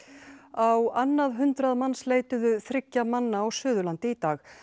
á annað hundrað manns leituðu þriggja manna á Suðurlandi í dag